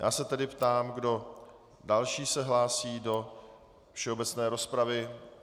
Já se tedy ptám, kdo další se hlásí do všeobecné rozpravy.